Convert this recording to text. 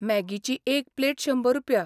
मॅगीची एक प्लेट शंबर रुपया.